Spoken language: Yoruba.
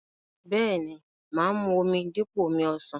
Bẹ́ẹ̀ni, mà á mu omi dípò omi ọsàn.